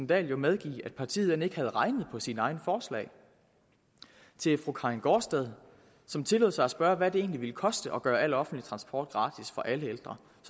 dahl jo medgive at partiet end ikke havde regnet på sine egne forslag til fru karin gaardsted som tillod sig at spørge hvad det egentlig ville koste at gøre al offentlig transport gratis for alle ældre